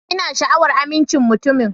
Ina sha'awar amincin mutumin.